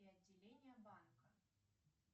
и отделения банка